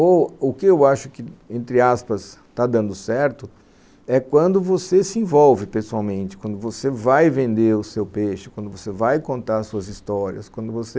Ou o que eu acho que, entre aspas, está dando certo, é quando você se envolve pessoalmente, quando você vai vender o seu peixe, quando você vai contar suas histórias, quando você